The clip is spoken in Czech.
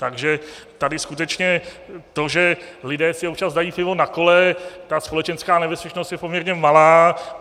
Takže tady skutečně to, že lidé si občas dají pivo na kole, ta společenská nebezpečnost je poměrně malá.